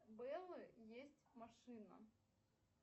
у бэллы есть машина